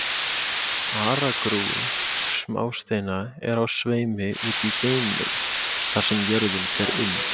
Aragrúi smásteina er á sveimi úti í geimnum þar sem jörðin fer um.